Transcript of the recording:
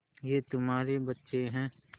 ये तुम्हारे बच्चे हैं